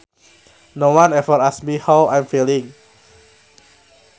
No one ever asks me how I am feeling